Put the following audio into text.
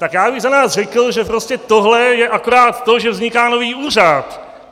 Tak já bych za nás řekl, že prostě tohle je akorát to, že vzniká nový úřad.